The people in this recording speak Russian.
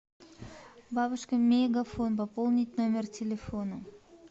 бабушка мегафон пополнить номер телефона